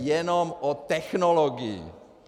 Jde jenom o technologii.